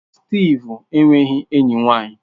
Steve enweghị enyi nwanyị.